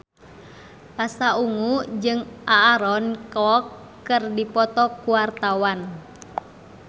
Pasha Ungu jeung Aaron Kwok keur dipoto ku wartawan